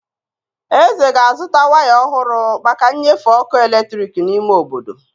Eze ga azụta waya ọhụrụ maka nnyefe ọkụ eletrik n'ime obodo.